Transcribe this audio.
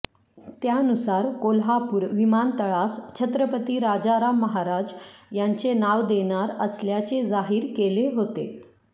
त्यानुसार कोल्हापूर विमानतळास छत्रपती राजाराम महाराज यांचे नाव देणार असल्याचे जाहिर केले होते